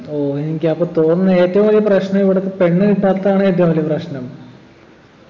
ഓഹ് എനിക്കപ്പോ തോന്നുന്ന് ഏറ്റവും വലിയ പ്രശ്നം ഇവിടിപ്പൊ പെണ്ണ് കിട്ടാത്തതാണ് ഏറ്റവും വലിയ പ്രശ്നം